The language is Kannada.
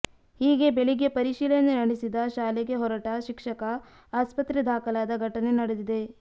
ಹೀಗೆ ಬೆಳಗ್ಗೆ ಪರಿಶೀಲನೆ ನಡೆಸಿದ ಶಾಲೆಗೆ ಹೊರಟ ಶಿಕ್ಷಕ ಆಸ್ಪತ್ರೆ ದಾಖಲಾದ ಘಟನೆ ನಡೆದಿದೆ